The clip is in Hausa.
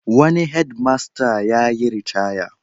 Wani hedmasta yayiritaya.